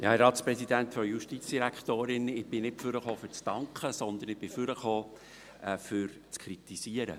Ich bin nicht nach vorne gekommen, um mich zu bedanken, sondern um zu kritisieren.